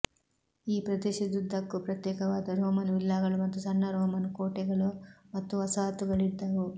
ಈ ಪ್ರದೇಶದುದ್ದಕ್ಕೂ ಪ್ರತ್ಯೇಕವಾದ ರೋಮನ್ ವಿಲ್ಲಾಗಳು ಮತ್ತು ಸಣ್ಣ ರೋಮನ್ ಕೋಟೆಗಳು ಮತ್ತು ವಸಾಹತುಗಳಿದ್ದವು